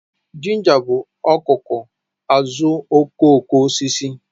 Ginger bụ ọkụkụ azuokokoosisi